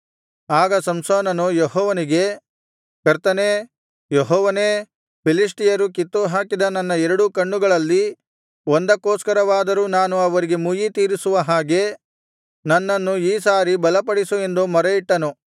ಆಗ ಸಂಸೋನನು ಯೆಹೋವನಿಗೆ ಕರ್ತನೇ ಯೆಹೋವನೇ ಫಿಲಿಷ್ಟಿಯರು ಕಿತ್ತುಹಾಕಿದ ನನ್ನ ಎರಡೂ ಕಣ್ಣುಗಳಲ್ಲಿ ಒಂದಕ್ಕೋಸ್ಕರವಾದರೂ ನಾನು ಅವರಿಗೆ ಮುಯ್ಯಿತೀರಿಸುವ ಹಾಗೆ ನನ್ನನ್ನು ಈ ಸಾರಿ ಬಲಪಡಿಸು ಎಂದು ಮೊರೆಯಿಟ್ಟು